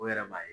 O yɛrɛ b'a ye